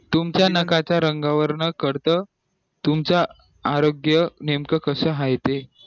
तुमच्या नख्या च्या रंगा वरून कळत तुमचं आरोग्य नेमकं कसं आहे ते